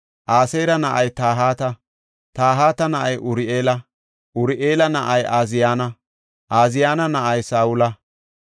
Aseera na7ay Tahata; Tahata na7ay Uri7eela; Uri7eela na7ay Ooziyana; Ooziyana na7ay Saa7ola.